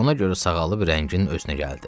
Ona görə sağalıb rəngin özünə gəldi.